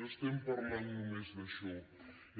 no estem parlant només d’això